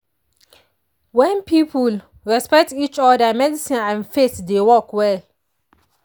when people respect each other medicine and faith dey work well.